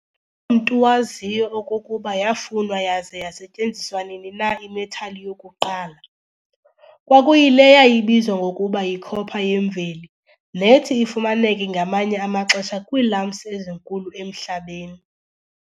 mntu waziyo okokuba yafunwa yaza yasetyenziswa nini na i-metal yokuqala. Kwakuyile yayibizwa ngokuba yi-cooper yemveli, nethi ifumaneke ngamanye amaxesha kwii-lumps ezinkulu emhlabeni.